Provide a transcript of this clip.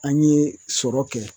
An ye sɔrɔ kɛ